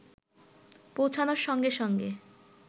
পৌঁছানোর সঙ্গে সঙ্গে